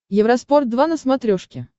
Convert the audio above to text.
евроспорт два на смотрешке